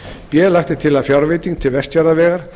b lagt er til að fjárveiting til vestfjarðavegar